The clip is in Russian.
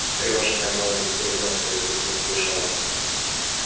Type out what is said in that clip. встревоженная мелани с гребёнкой в руке сбежала